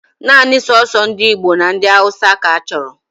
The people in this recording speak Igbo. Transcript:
Naanị soso ndị Igbo na ndị Hausa ka achọrọ